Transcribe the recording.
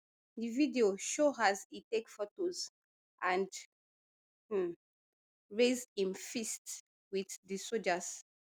di video show as e take photos and um raise im fist wit di sojas